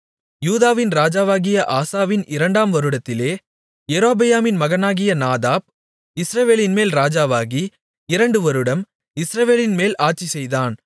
யூதாவின் ராஜாவாகிய ஆசாவின் இரண்டாம் வருடத்திலே யெரொபெயாமின் மகனாகிய நாதாப் இஸ்ரவேலின்மேல் ராஜாவாகி இரண்டு வருடம் இஸ்ரவேலின்மேல் அரசாட்சிசெய்தான்